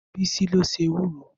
Bisi ló se ewúro